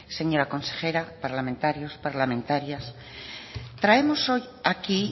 señora consejera parlamentarios parlamentarias traemos hoy aquí